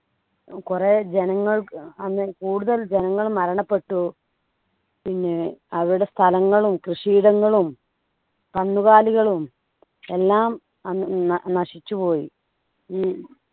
കുറെ ജനങ്ങൾക്ക് അന്ന് കൂടുതൽ ജനങ്ങൾ മരണപ്പെട്ടു പിന്നെ അവരുടെ സ്ഥലങ്ങളും കൃഷിയിടങ്ങളും കന്നുകാലികളും എല്ലാം അന്ന് അഹ് നശിച്ചുപോയി ഉം